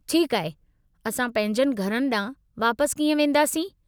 ठीकु आहे, असां पंहिंजनि घरनि ॾांहुं वापसि कीअं वेंदासीं?